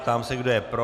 Ptám se, kdo je pro.